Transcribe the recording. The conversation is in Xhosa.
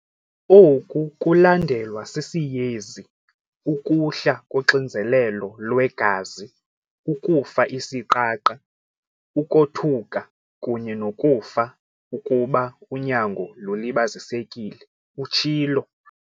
"Oku kulandelwa sisiyezi, ukuhla koxinzelelo lwegazi, ukufa isiqaqa, ukothuka kunye nokufa ukuba unyango lulibazisekile," utshilo.